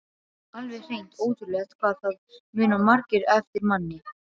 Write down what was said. Alveg hreint ótrúlegt hvað það muna margir eftir manni!